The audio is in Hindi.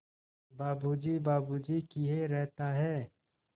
बाबू जी बाबू जी किए रहता है